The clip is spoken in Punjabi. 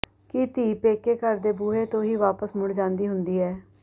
ਕੀ ਧੀ ਪੇਕੇ ਘਰ ਦੇ ਬੂਹੇ ਤੋਂ ਹੀ ਵਾਪਸ ਮੁੜ ਜਾਂਦੀ ਹੁੰਦੀ ਐ